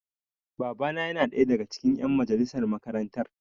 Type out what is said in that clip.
Baba na yana ɗaya daga cikin ƴan majalisar makarantar.